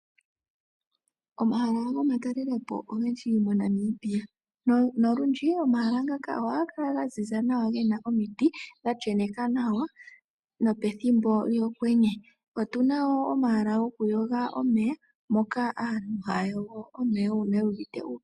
Omahala gomatelelo po ogendji moNamibia. Nolundji omahala ngaka ohaga kala ga ziza nawa ge na omiti dha sheneka nawa nopethimbo lyokwenye. Otu na wo omahala gokuyoga omeya moka aantu haya yogo omeya uuna yu uvite uupyu.